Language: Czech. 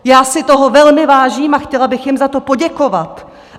Já si toho velmi vážím a chtěla bych jim za to poděkovat.